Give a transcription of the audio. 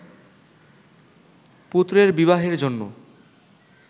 পুত্রের বিবাহের জন্য